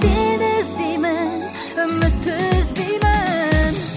сені іздеймін үмітті үзбеймін